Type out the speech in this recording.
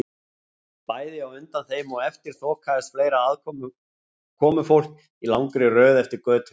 Bæði á undan þeim og eftir þokaðist fleira komufólk í langri röð eftir götunni.